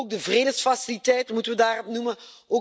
Maar ook de Vredesfaciliteit moeten we daarbij noemen.